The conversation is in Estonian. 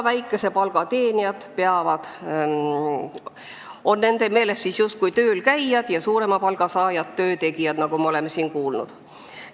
Väikese palga teenijad on nende meelest justkui töölkäijad ja suurema palga saajad töötegijad, nagu me oleme siin kuulnud.